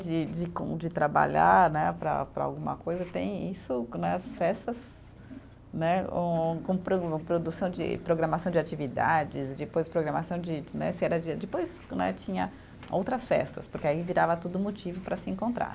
de de com, de trabalhar né, para para alguma coisa, tem isso nas festas, né, um com pro, produção de, programação de atividades, depois programação de de né, se era dia, depois né tinha outras festas, porque aí virava tudo motivo para se encontrar.